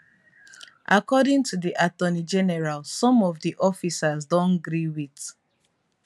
i get plans today but your visit add quiet meaning wey i no fit forget.